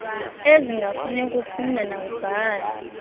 ezingafuni kufunda nakubhala